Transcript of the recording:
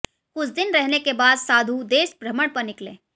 कुछ दिन रहने के बाद साधु देश भ्रमण पर निकले